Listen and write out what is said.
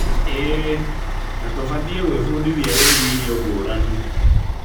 ĩĩ, na tũbatie gwĩbundithia wĩgie irio ngũrani.